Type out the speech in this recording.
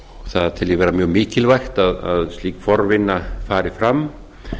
það tel ég vera mjög mikilvægt að slík forvinna fari fram